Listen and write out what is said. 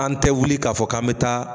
An tɛ wuli k'a fɔ k'an bɛ taa